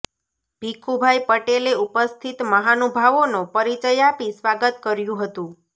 ભીખુભાઇ પટેલે ઉપિસ્થત મહાનુભાવોનો પરિચય આપી સ્વાગત કર્યુ હતુ